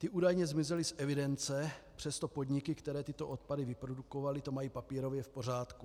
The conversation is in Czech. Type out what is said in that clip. Ty údajně zmizely z evidence, přesto podniky, které tyto odpady vyprodukovaly, to mají papírově v pořádku.